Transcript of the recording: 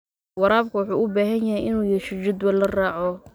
Waraabka wuxuu u baahan yahay inuu yeesho jadwal la raaco.